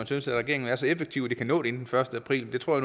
synes at regeringen er så effektiv at de kan nå det inden den første april det tror